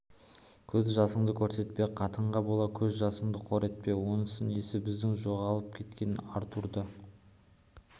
көз жасыңды көрсетпе қатынға бола көз жасыңды қор етпе онысы несі біздің жоғалып кеткен артурды